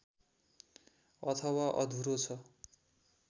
अथवा अधुरो छ